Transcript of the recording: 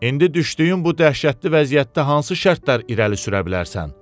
İndi düşdüyün bu dəhşətli vəziyyətdə hansı şərtlər irəli sürə bilərsən?